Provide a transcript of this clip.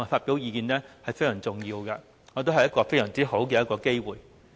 這是非常重要的，我認為這是一個很好的機會。